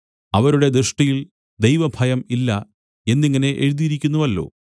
അവരുടെ ദൃഷ്ടിയിൽ ദൈവഭയം ഇല്ല എന്നിങ്ങനെ എഴുതിയിരിക്കുന്നുവല്ലോ